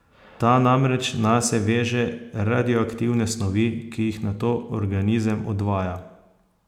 Ta namreč nase veže radioaktivne snovi, ki jih nato organizem odvaja.